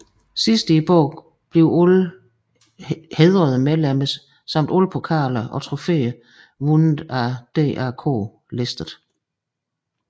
Sidst i bogen bliver alle hædrede medlemmer samt alle pokaler og trofeer vundet af DAK listet